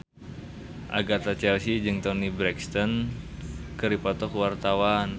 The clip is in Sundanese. Agatha Chelsea jeung Toni Brexton keur dipoto ku wartawan